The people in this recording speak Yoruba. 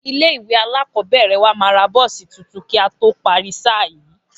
Ilé ìwé alákọ̀ọ́bẹ̀rẹ̀ wa máa ra bọ́ọ̀sì tuntun kí a tó parí sáà yìí